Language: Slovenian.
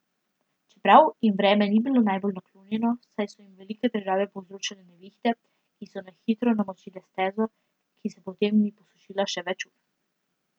Čeprav jim vreme ni bilo najbolj naklonjeno, saj so jim velike težave povzročale nevihte, ki so na hitro namočile stezo, ki se potem ni posušila še več ur.